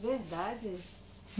Verdade.